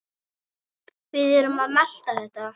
Við erum að melta þetta.